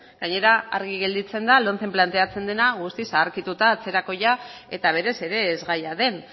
gainera argi gelditzen da lomcen planteatzen dena guztiz zaharkituta atzerakoia eta berez ere ez gaia den